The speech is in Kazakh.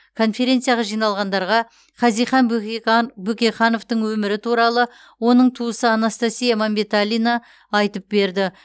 конференцияға жиналғандарға хазихан бөкейхан бөкейхановтың өмірі туралы оның туысы анастасия мәмбеталина айтып берді